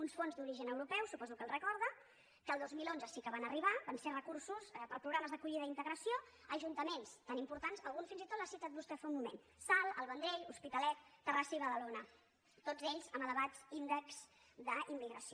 uns fons d’origen europeu suposo que els recorda que el dos mil onze sí que van arribar van ser recursos per a programes d’acollida i integració a ajuntaments tan importants algun fins i tot l’ha citat vostè fa un moment salt el vendrell l’hospitalet terrassa i badalona tots ells amb elevats índexs d’immigració